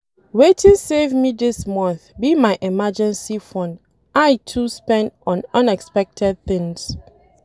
Wetin save me dis month be my emergency fund I too spend on unexpected things